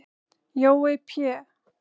Jói Pé